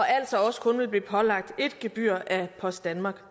altså også kun blive pålagt ét gebyr af post danmark